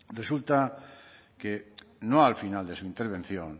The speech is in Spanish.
resulta que no al final de su intervención